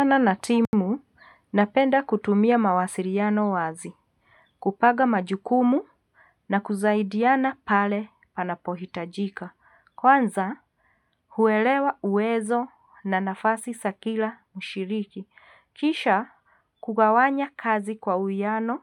Tana na timu, napenda kutumia mawasiliano wazi, kupaga majukumu na kusaidiana pale panapo hitajika. Kwanza, huelewa uwezo na nafasi za kila mshiriki. Kisha, kugawanya kazi kwa uhuhiano,